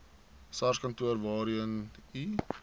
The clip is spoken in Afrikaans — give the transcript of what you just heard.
sarskantoor waarheen u